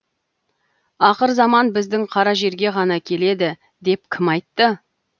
ақырзаман біздің қара жерге ғана келеді деп кім айтты